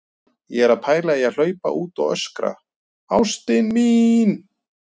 Ég er að pæla í að hlaupa út og öskra: ÁSTIN MÍN!